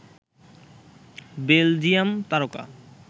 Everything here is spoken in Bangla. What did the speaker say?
বেলজিয়াম তারকা